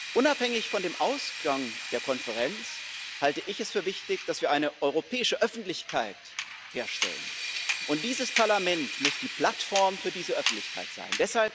Unabhängig vom Ausgang der Konferenz halte ich es für wichtig, dass wir eine europäische Öffentlichkeit herstellen, und dieses Parlament muss die Plattform für diese Öffentlichkeit sein.